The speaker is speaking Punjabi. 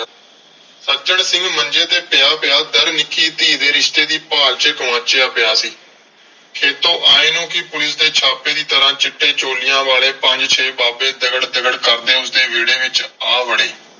ਸੱਜਣ ਸਿੰਘ ਮੰਜੇ ਤੇ ਪਿਆ ਪਿਆ . ਨਿੱਕੀ ਧੀ ਦੇ ਰਿਸ਼ਤੇ ਦੀ ਭਾਲ ਚ ਗੁਆਚਿਆ ਪਿਆ ਸੀ। ਖੇਤੋਂ ਆਏ ਨੂੰ ਵੀ ਪੁਲਿਸ ਦੇ ਛਾਪੇ ਦੀ ਤਰ੍ਹਾਂ ਚਿੱਟੇ ਚੋਲਿਆਂ ਵਾਲੇ ਪੰਜ ਛੇ ਬਾਬੇ ਦਗੜ ਦਗੜ ਕਰਦੇ ਉਸਦੇ ਵਿਹੜੇ ਵਿਚ ਆ ਵੜੇ।